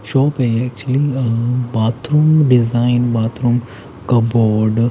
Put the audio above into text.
shop है actually uh bathroom design bathroom cupboard --